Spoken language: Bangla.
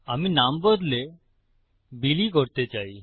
আমি নাম বদলে বিলি করতে চাই